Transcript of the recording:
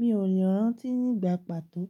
Mi ò lè rántí nígbà pàtó